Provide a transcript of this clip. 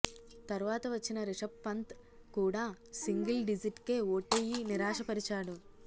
తర్వాత వచ్చిన రిషబ్ పంత్ కూడా సింగిల్ డిజిట్ కే ఔటయ్యి నిరాశపరిచాడు